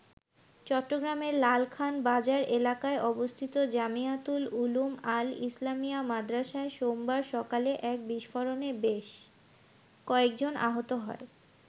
চট্টগ্রামের লালখান বাজার এলাকায় অবস্থিত জামিয়াতুল উলুম আল-ইসলামিয়া মাদ্রাসায় সোমবার সকালে এক বিস্ফোরণে বেশ কয়েকজন আহত হয়।